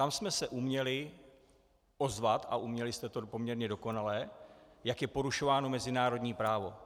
Tam jsme se uměli ozvat, a uměli jste to poměrně dokonale, jak je porušováno mezinárodní právo.